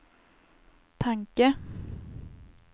tanke